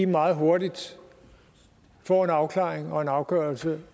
meget hurtigt får en afklaring og en afgørelse